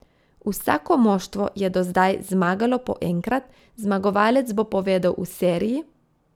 Vsako moštvo je do zdaj zmagalo po enkrat, zmagovalec bo povedel v seriji.